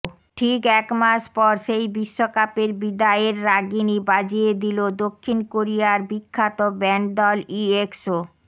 ঠিক একমাস পর সেই বিশ্বকাপের বিদায়ের রাগিনী বাজিয়ে দিলো দক্ষিণ কোরিয়ার বিখ্যাত ব্যান্ড দল ইএক্সও